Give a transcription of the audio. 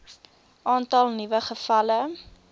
aantal nuwe gevalle